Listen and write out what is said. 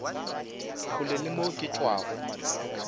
kgole ke mo ke tšwago